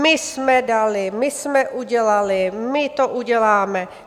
My jsme dali, my jsme udělali, my to uděláme.